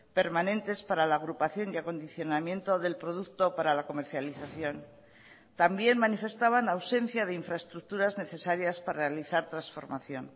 permanentes para la agrupación y acondicionamiento del producto para la comercialización también manifestaban ausencia de infraestructuras necesarias para realizar transformación